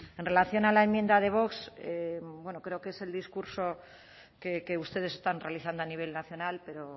en relación a la enmienda de vox bueno creo que es el discurso que ustedes están realizando a nivel nacional pero